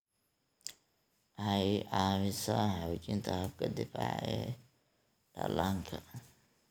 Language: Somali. Waxay caawisaa xoojinta habka difaaca ee dhallaanka.